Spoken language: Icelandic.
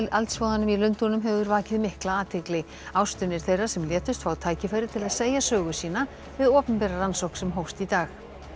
eldsvoðanum í Lundúnum hefur vakið mikla athygli ástvinir þeirra sem létust fá tækifæri til að segja sögu sína við opinbera rannsókn sem hófst í dag